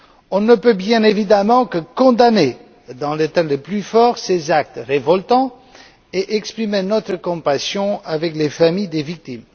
On ne peut, bien évidemment, que condamner dans les termes les plus forts ces actes révoltants et exprimer notre compassion avec les familles des victimes.